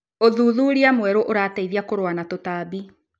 ũthuthuria mwerũ ũrateithia kũrũa na tũtambi.